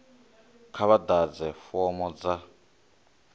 kha vha ḓadze fomo dza